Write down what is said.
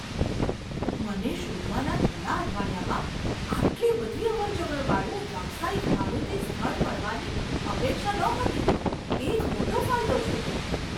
મને શોધવાના થોડા અઠવાડિયામાં આટલી બધી અવરજવર વાળું વ્યવસાયિક ભાડુતી સ્થળ મળવાની અપેક્ષા નહોતી તે એક મોટો ફાયદો છે.